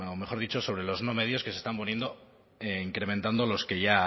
mejor dicho sobre los no medios que se están poniendo e incrementando los que